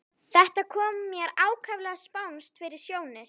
Þetta kom mér ákaflega spánskt fyrir sjónir.